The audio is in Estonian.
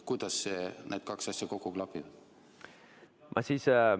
Kuidas need kaks asja kokku klapivad?